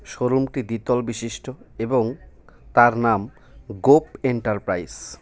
শোরুমটি দ্বিতল বিশিষ্ট এবং তার নাম গোপ এন্টারপ্রাইস .